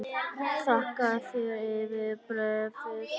Þakka þér fyrir bréfið!